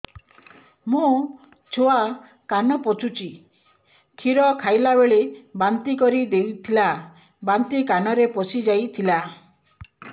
ମୋ ଛୁଆ କାନ ପଚୁଛି କ୍ଷୀର ଖାଇଲାବେଳେ ବାନ୍ତି କରି ଦେଇଥିଲା ବାନ୍ତି କାନରେ ପଶିଯାଇ ଥିଲା